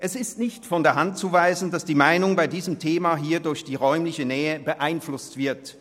Es ist nicht von der Hand zu weisen, dass die Meinung zu diesem Thema hier durch die räumliche Nähe beeinflusst wird.